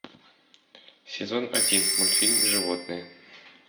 сезон один мультфильм животные